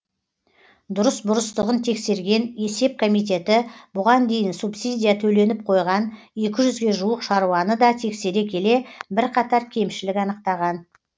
дұрыс бұрыстығын тексерген есеп комитеті бұған дейін субсидия төленіп қойған екі жүзге жуық шаруаны да тексере келе бірқатар кемшілік анықтаған